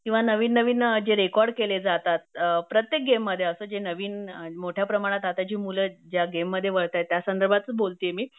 किंवा नवीन नवीन जे रेकॉर्ड केले जातात अ प्रत्येक गेम मध्ये असं जे नवीन मोठ्या प्रमाणात आता जी मुलं ज्या गेम मध्ये वळताहेत त्या संदर्भातच बोलतीये मी